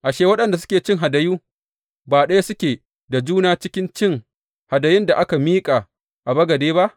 Ashe, waɗanda suke cin hadayu, ba ɗaya suke da juna cikin cin hadayun da aka miƙa a bagade ba?